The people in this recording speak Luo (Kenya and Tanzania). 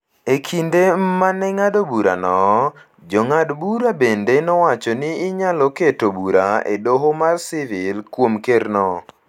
E kinde ma ne ng’ado burano, Jong'ad burago bende nowacho ni inyalo keto bura e Doho mar sivil kuom Kerno.